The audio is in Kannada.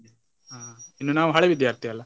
ಹಾ ಇನ್ನು ನಾವು ಹಳೆ ವಿದ್ಯಾರ್ಥಿಯಲ್ಲಾ.